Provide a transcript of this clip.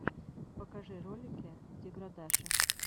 покажи ролики деградаши